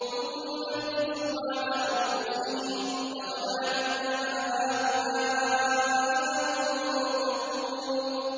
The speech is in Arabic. ثُمَّ نُكِسُوا عَلَىٰ رُءُوسِهِمْ لَقَدْ عَلِمْتَ مَا هَٰؤُلَاءِ يَنطِقُونَ